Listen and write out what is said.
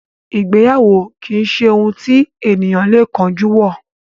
Ìgbéyàwó kìí ṣe ohun tí ènìyàn lè kánjú wọ.